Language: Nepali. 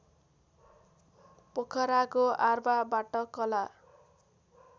पोखराको आर्वाबाट कला